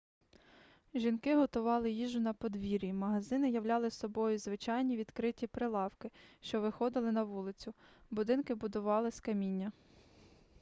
жінки готували їжу на подвір'ї магазини являли собою звичайні відкриті прилавки що виходили на вулицю будинки будували з каміння